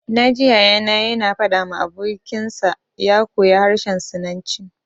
Na ji Yaya na ya na faɗa ma abokin sa ya koya harshen sinanci